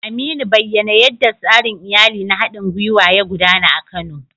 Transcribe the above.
Aminu, bayyana yadda tsarin iyali na haɗin gwiwa ya gudana a Kano